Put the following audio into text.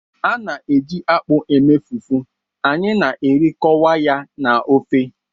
A na-eji akpụ eme fufu, anyị na-erikọkwa ya na ofe